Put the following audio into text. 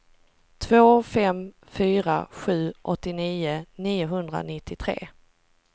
två fem fyra sju åttionio niohundranittiotre